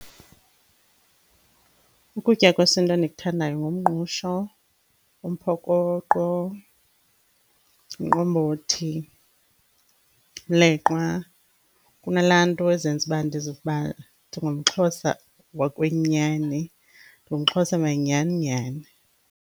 Ukutya kwesintu endikuthandayo ngumngqusho, umphokoqo, umqombothi, umleqwa. Kunala nto ezenza uba ndizive uba ndingumXhosa wokwenyani, ndingumXhosa manyhani nyhani.